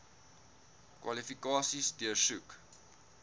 kwalifikasies deursoek